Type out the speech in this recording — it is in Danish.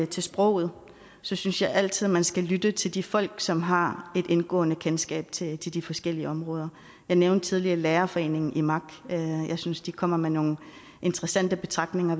til sproget synes jeg altid man skal lytte til de folk som har et indgående kendskab til de forskellige områder jeg nævnte tidligere lærerforeningen imak jeg synes de kommer med nogle interessante betragtninger